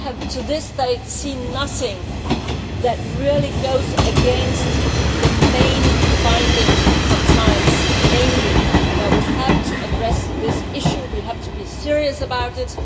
to this day, I have seen nothing that really goes against the main finding of science, namely that we have to address this issue and we have to be serious about it.